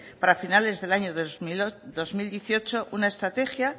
para finales del año dos mil dieciocho una estrategia